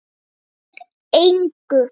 Skiptir engu.